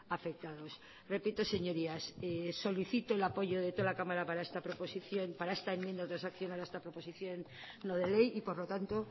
afectados repito señorías solicito el apoyo de toda la cámara para esta enmienda transaccional para esta proposición no de ley y por lo tanto